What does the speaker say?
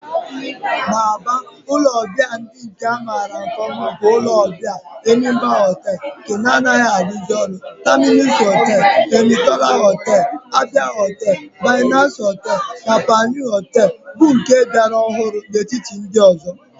N'Aba, ulo obia ndi a mara nke oma bu ulo obia Enyimba Hotel nke na-adighizi aru oru, Terminus Hotel, Enitona Hotel, Abia Hotel, Binez Hotel, na Panyu Hotel bu nke ka biara ohuru n'etiti ndi ozo.